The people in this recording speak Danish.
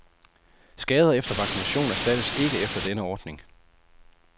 Skader efter vaccination erstattes ikke efter denne ordning.